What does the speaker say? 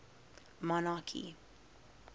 monarchy